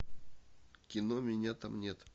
кино меня там нет